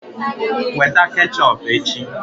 Weta ketchọp echi!